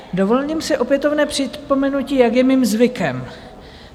Dovolím si opětovné připomenutí, jak je mým zvykem.